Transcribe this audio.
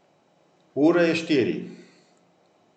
Ura je štiri.